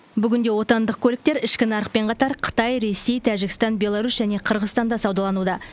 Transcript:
бүгінде отандық көліктер ішкі нарықпен қатар қытай ресей тәжікстан беларусь және қырғызстанда саудалануда